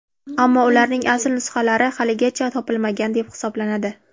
Ammo ularning asl nusxalari haligacha topilmagan deb hisoblanadi.